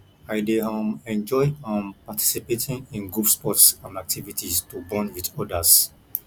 i dey um enjoy um participating in group sports and activities to bond with others